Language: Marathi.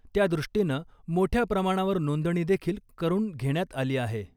त्यादृष्टीनं मोठ्या प्रमाणावर नोंदणी देखील करून घेण्यात आली आहे .